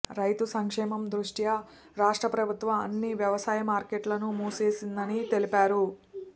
రైతు సంక్షేమం దృష్ట్యా రాష్ట్ర ప్రభుత్వం అన్ని వ్యవసాయ మార్కెట్లను మూసేసిందని తెలిపారు